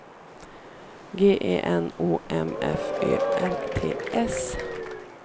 G E N O M F Ö R T S